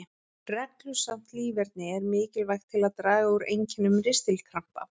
Reglusamt líferni er mikilvægt til að draga úr einkennum ristilkrampa.